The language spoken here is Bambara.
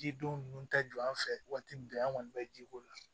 Jidenw ninnu tɛ jɔ an fɛ waati min an kɔni bɛ ji k'o la